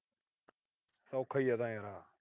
ਸੌਖਾ ਹੀ ਆ ਇਹ ਤਾਂ ਯਾਰ।